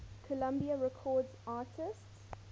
columbia records artists